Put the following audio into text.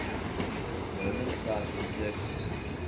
roman sites in turkey